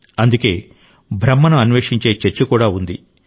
అందుకే బ్రహ్మను అన్వేషించే చర్చ కూడా ఉంది